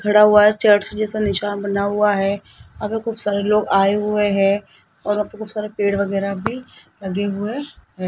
खड़ा हुआ है चर्च जैसा निशान बना हुआ है वहां पे खूब सारे लोग आए हुए है और वहां पे खूब सारे पेड़ वगैरह भी लगे हुए है।